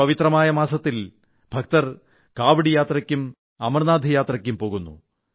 ഈ പവിത്രമായ മാസത്തിൽ ഭക്തർ കാവഡ് യാത്രയ്ക്കും അമർനാഥ് യാത്രയ്ക്കും പോകുന്നു